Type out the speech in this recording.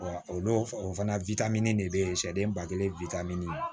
o don o fana de bɛ ye sari ba kelen